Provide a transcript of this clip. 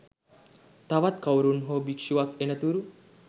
තවත් කවුරුන් හෝ භික්ෂුවක් එනතුරු